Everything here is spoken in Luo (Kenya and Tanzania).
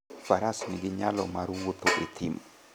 Faras nigi nyalo mar wuotho e thim.